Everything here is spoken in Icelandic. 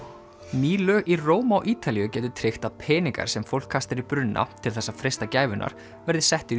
ný lög í Róm á Ítalíu gætu tryggt að peningar sem fólk kastar í brunna til þess að freista gæfunnar verði settir í